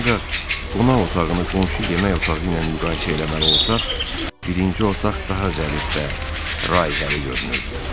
Ancaq qonaq otağını qonşu yemək otağı ilə müqayisə eləməli olsaq, birinci otaq daha zərif və raihəli görünürdü.